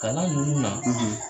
Kalan ninnu na, .